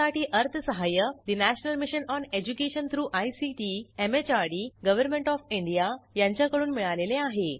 यासाठी अर्थसहाय्य national mission on education through ICT MHRD government of India यांच्याकडून मिळालेले आहे